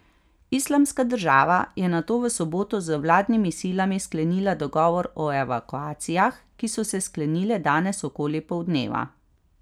Islamska država je nato v soboto z vladnimi silami sklenila dogovor o evakuacijah, ki so se sklenile danes okoli poldneva.